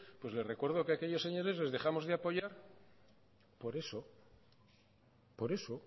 pues le recuerdo que aquellos señores les dejamos de apoyar por eso por eso